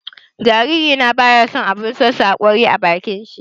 Jariri na baya son abun sosa haƙori a bakin shi.